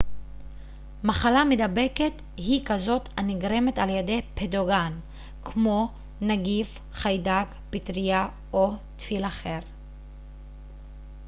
מחלה מידבקת היא כזאת הנגרמת על ידי פתוגן כמו נגיף חיידק פטרייה או טפיל אחר